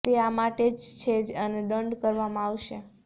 તે આ માટે જ છે અને દંડ કરવામાં આવશે